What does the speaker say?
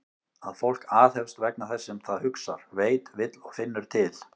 Að fólk aðhefst vegna þess sem það hugsar, veit, vill og finnur til?